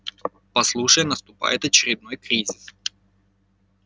послушай наступает очередной кризис